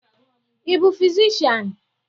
Ị bụ fizishian?